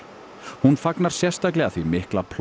hún fagnar sérstaklega því mikla